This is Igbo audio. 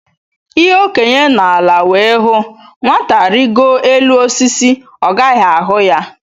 Ihe Okenye nọ ala wee hụ, Nwata rigoo elu osisi, ọ gaghị ahụ ya